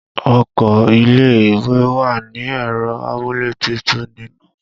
Ọkọ ilé ìwé wa ni ẹ̀rọ amúlétutù nínú